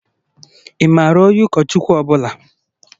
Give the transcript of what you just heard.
Ị maara onye ụkọchukwu ọ bụla?